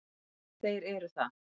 Þeir eru það.